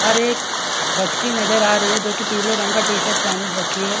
और एक बच्ची नज़र आ रही है जो की पीले रंग का टी-शर्ट पेहन रखी है।